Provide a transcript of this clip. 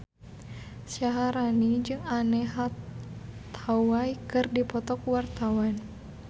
Syaharani jeung Anne Hathaway keur dipoto ku wartawan